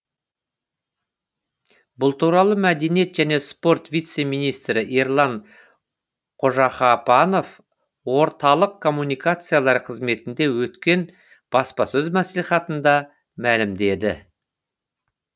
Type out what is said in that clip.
бұл туралы мәдениет және спорт вице министрі ерлан қожағапанов орталық коммуникациялар қызметінде өткен баспасөз мәслихатында мәлімдеді